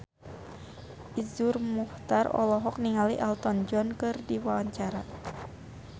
Iszur Muchtar olohok ningali Elton John keur diwawancara